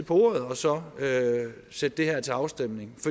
på ordet og så sætte det her til afstemning